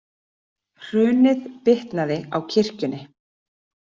Hrunið bitnaði á kirkjunni